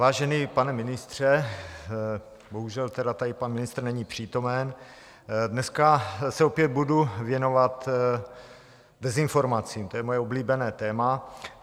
Vážený pane ministře - bohužel tedy tady pan ministr není přítomen - dneska se opět budu věnovat dezinformacím, to je moje oblíbené téma.